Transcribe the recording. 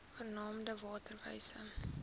genaamd water wise